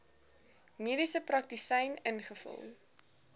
mediese praktisyn ingevul